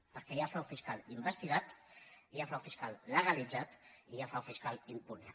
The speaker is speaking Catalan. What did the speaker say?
perquè hi ha frau fiscal investigat hi ha frau fiscal legalitzat i hi ha frau fiscal impune